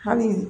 Hali